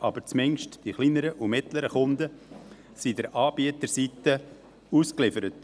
Jedoch sind zumindest die kleineren und mittleren Kunden sind der Anbieterseite ausgeliefert.